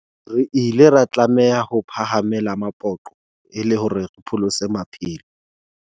Re ile ra tlameha ho phahame-la mapoqo e le hore re pholose maphelo.